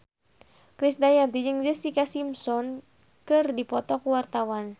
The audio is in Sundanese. Krisdayanti jeung Jessica Simpson keur dipoto ku wartawan